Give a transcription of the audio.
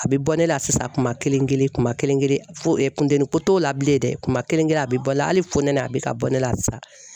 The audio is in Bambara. A bɛ bɔ ne la sisan kuma kelen kelen kuma kelen kelen foteni ko t'o la bilen dɛ kuma kelen kelen a bɛ bɔ la hali funteni a bɛ ka bɔ ne la sisan.